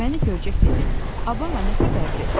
Məni görcək dedi: "A bala, nə xəbərdir?"